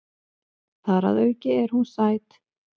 Þar að auki er hún sæt.